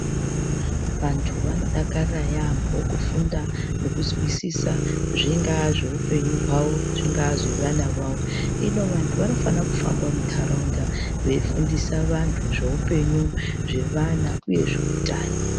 Vantu vanodakara yaamho, kufunda nekuzwisisa zvingaa zveupenyu hwavo, zvingaa zvevana vavo. Hino vanhu vanofanira kufamba munharaunda veifundisa vanhu zveupenyu zvevana nezveutano.